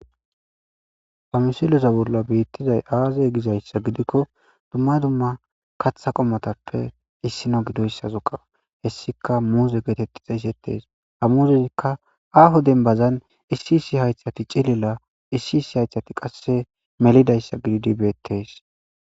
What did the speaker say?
Ha misiloza bolla biittizay aazay gizayssa gidikko dumma dumma katha qommotappe issina gidoyssa zuqa hessika muuze geetetti xeeysettees hamuzeikka aaho denbazan issi issi haythati cilila issi issi haythati qasse melidayssa gididibeettes